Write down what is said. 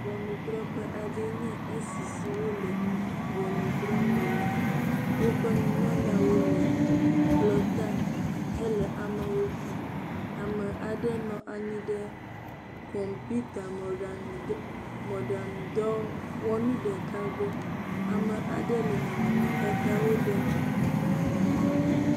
Ŋɔnudrɔ̃ƒe aɖee nye si si wole ŋɔnudrɔ̃m le la. Woƒe nunɔlawo le kplɔ̃ta hele wo kpɔm. Ame aɖe nɔ anyi ɖe kɔmpiuta mɔɖaŋudɔ, mɔɖaŋudɔwɔnu ɖeka gbɔ. Ame aɖe le nɔnɔmetatawo ɖem.